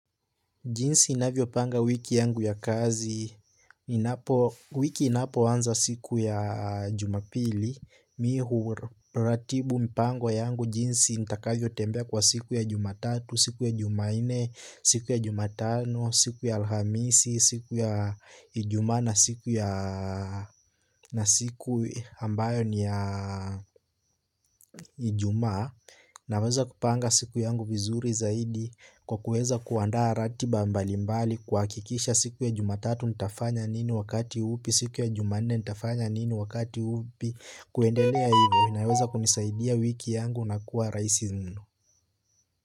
Jinsi ninavyopanga wiki yangu ya kazi, wiki inapoanza siku ya jumapili, mih huratibu mpango yangu jinsi nitakavyo tembea kwa siku ya jumatatu, siku ya jumaine, siku ya jumatano, siku ya alhamisi, siku ya ijuma na siku ambayo ni ya ijuma. Naweza kupanga siku yangu vizuri zaidi kwa kueza kuandaa ratiba mbali mbali kuhakikisha siku ya jumatatu nitafanya nini wakati upi siku ya jumanne nitafanya nini wakati upi kuendelea hivyo naweza kunisaidia wiki yangu na kuwa rahisi mno.